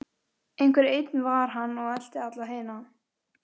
Einhver einn var hann og elti alla hina.